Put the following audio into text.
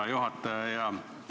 Hea juhataja!